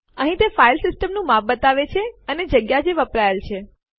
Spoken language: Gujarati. અહીં તે ફાઇલ સિસ્ટમ નું માપ બતાવે છે અને જગ્યા જે વપરાયેલ છે